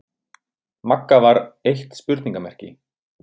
Magga var eitt spurningarmerki.